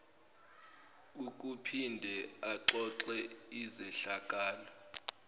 ukuphinde axoxe izehlakalo